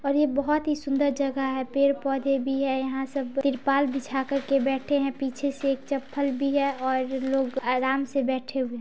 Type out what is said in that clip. और ये बहुत ही सुंदर जगह है। पेड़-पौधे भी है। यहाँ सब त्रिपाल बिछा कर बैठे हैं। पीछे से एक चप्पल भी है और लोग आराम से बैठे हुए --